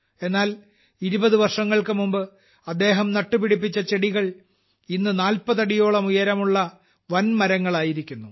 എന്നാൽ 20 വർഷങ്ങൾക്കുമുമ്പ് അദ്ദേഹം നട്ടുപിടിപ്പിച്ച ചെടികൾ ഇന്ന് 40 അടിയോളം ഉയരമുള്ള വൻമരങ്ങളായിരിക്കുന്നു